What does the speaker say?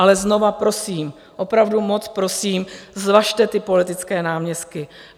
Ale znovu prosím, opravdu moc prosím, zvažte ty politické náměstky.